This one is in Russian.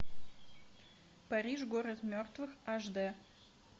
париж город мертвых аш д